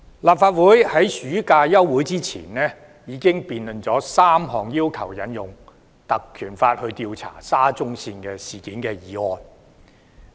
立法會在暑期休會前已經辯論了3項要求引用《立法會條例》調查沙中線事件的議案。